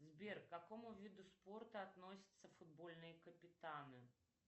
сбер к какому виду спорта относятся футбольные капитаны